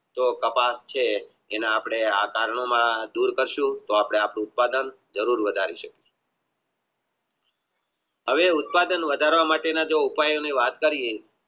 જે કપાસ છે એના અપને આકારનો માં દૂર કરશુ તો આપણે આ ઉત્પાદન જરૂર વધરસુ હવે ઉત્પાદન વધારવા માટે ની જે અપને વાત કરીયે